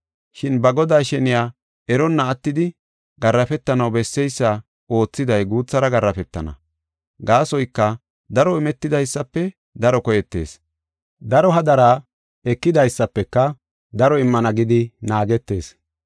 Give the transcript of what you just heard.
Shin ba godaa sheniya eronna attidi garaafetanaw besseysa oothiday guuthara garaafetana. Gaasoyka daro imetidaysafe daro koyetees, daro hadara ekidaysafeka daro immana gidi naagetees.